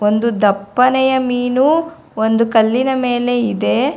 ಒಂದು ದಪ್ಪನೆಯ ಮೀನು ಒಂದು ಕಲ್ಲಿನ ಮೇಲೆ ಇದೆ.